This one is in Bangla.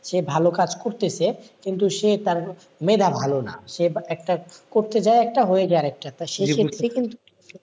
সে ভালো কাজ করতেছে কিন্তু সে, সে তার ভালো না সেই একটা করতে যায় একটা হয়ে যায় একটা, সেই ক্ষেত্রে কিন্তু,